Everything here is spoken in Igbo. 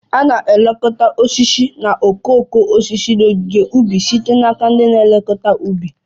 A na-elekọta osisi na okooko osisi n'ogige ubi site n'aka ndị na-elekọta ubi